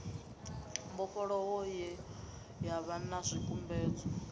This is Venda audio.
mbofholowo ye yavha na zwikumedzwa